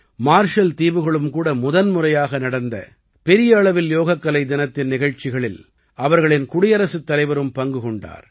marshal தீவுகளும் கூட முதன்முறையாக நடந்த பெரிய அளவில் யோகக்கலை தினத்தின் நிகழ்ச்சிகளில் அவர்களின் குடியரசுத் தலைவரும் பங்கு கொண்டார்